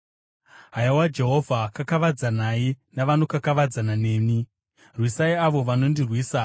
Haiwa Jehovha, kakavadzanai navanokakavadzana neni; rwisai avo vanondirwisa.